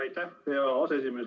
Aitäh, hea aseesimees!